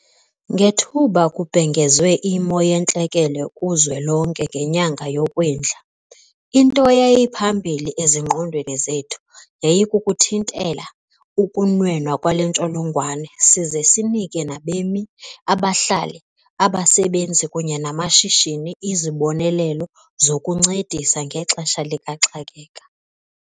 Ngethuba kubhengezwe iMo yeNtlekele kuZwelonke ngenyanga yoKwindla, into eyayiphambili ezingqondweni zethu yayikuthintela ukunwenwa kwale ntsholongwane size sinike nabemi, abahlali, abasebenzi kunye namashishini izibonelelo zokuncedisa ngexesha likaxakeka.